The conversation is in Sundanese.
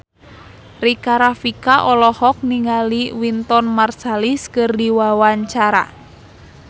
Rika Rafika olohok ningali Wynton Marsalis keur diwawancara